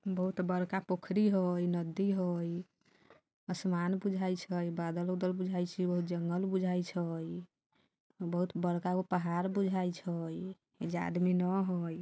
बहुत बड़का पोखरी हई नदी हई आसमान बुझाई छई बादल-उदल बुझाइ छियो जंगल बुजाइ छई बहुत बड़कागो पहाड़ बुजाइ छई एइजा आदमी न हई।